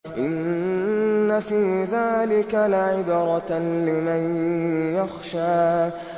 إِنَّ فِي ذَٰلِكَ لَعِبْرَةً لِّمَن يَخْشَىٰ